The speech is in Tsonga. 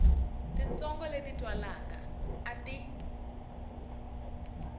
titsongo leti twalaka a ti